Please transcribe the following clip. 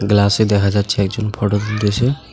গ্লাসে দেখা যাচ্ছে একজন ফোটো তুলতেসে।